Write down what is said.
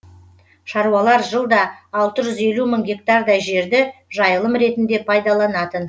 шаруалар жылда алты жүз елу мың гектардай жерді жайылым ретінде пайдаланатын